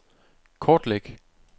kortlæg